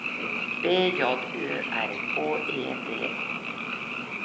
B J Ø R K E D A L